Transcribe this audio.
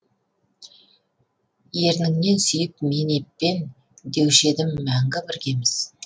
ерніңнен сүйіп мен еппен деуші едім мәңгі біргеміз